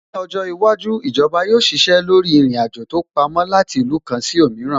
Ní ọjọ́ iwájú, Ìjọba yóò ṣiṣẹ́ lórí ìrìn-àjò tó pamó láti ìlú kan sí òmíràn